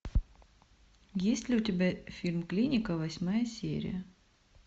есть ли у тебя фильм клиника восьмая серия